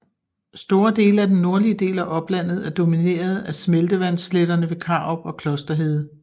Store dele af den nordlige del af oplandet er domineret af smeltevandssletterne ved Karup og Klosterhede